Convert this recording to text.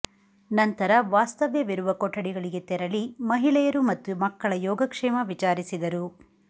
ನಂತರ ವಾಸ್ತವ್ಯವಿರುವ ಕೊಠಡಿಗಳಿಗೆ ತೆರಳಿ ಮಹಿಳೆಯರು ಮತ್ತು ಮಕ್ಕಳ ಯೋಗಕ್ಷೇಮ ವಿಚಾರಿಸಿದರು